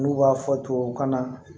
N'u b'a fɔ tubabu kan na